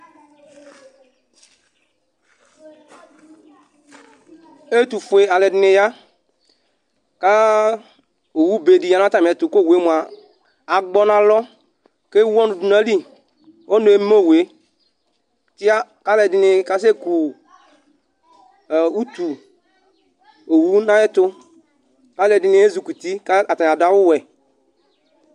ɛtufuə alɛdini ya ku owube di ya nu atamiɛtu , ku owue agbɔ n'alɔ kewu ɔnu du n'ayili, ɔnu eme uwue tia ku alɛdini kasɛku utu owu n'ayɛtu ku alɛdini ezikuti, ku atani adu awuwɛ